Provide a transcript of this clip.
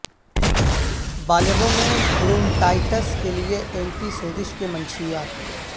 بالغوں میں برونٹائٹس کے لئے اینٹی سوزش کے منشیات